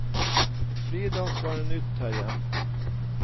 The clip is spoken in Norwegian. Fridans var noe nytt her hjemme.